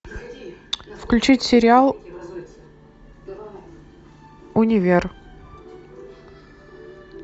включить сериал универ